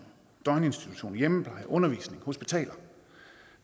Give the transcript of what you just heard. døgninstitutioner hjemmepleje undervisning og hospitaler